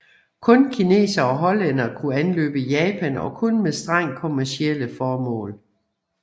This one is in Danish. Kun kinesere og hollændere kunne anløbe Japan og kun med strengt kommercielle formål